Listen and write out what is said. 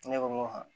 Ne ko a